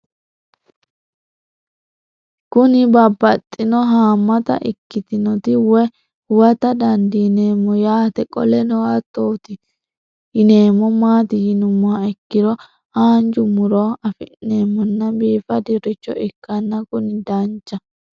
Kuni babaxino haamata ikitinotna woyi huwata dandinemo yaate qoleno hatoti yinemo maati yinumoha ikiro hanja murowa afine'mona bifadoricho ikana Kuni dancha